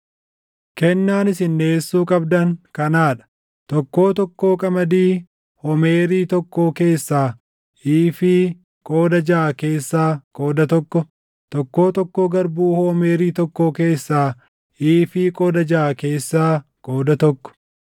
“ ‘Kennaan isin dhiʼeessuu qabdan kanaa dha: Tokkoo tokkoo qamadii homeerii tokkoo keessaa iifii qooda jaʼa keessaa qooda tokko, tokkoo tokkoo garbuu homeerii tokkoo keessaa iifii qooda jaʼa keessaa qooda tokko.